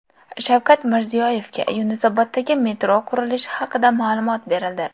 Shavkat Mirziyoyevga Yunusoboddagi metro qurilishi haqida ma’lumot berildi.